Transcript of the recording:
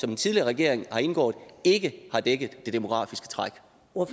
den tidligere regering har indgået ikke har dækket det demografiske træk